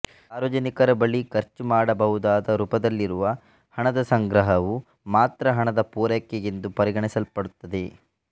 ಸಾರ್ವಜನಿಕರ ಬಳಿ ಖರ್ಚುಮಾಡಬಹುದಾದ ರುಪದಲ್ಲಿರುವ ಹಣದ ಸಂಗ್ರಹವು ಮಾತ್ರ ಹಣದ ಪೂರೈಕೆ ಎಂದು ಪರಿಗಣಿಸಲ್ಪಡುತ್ತದೆ